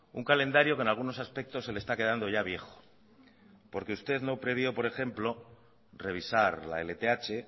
un calendario que en algunos aspectos se le está quedando ya viejo porque usted no previó por ejemplo revisar la lth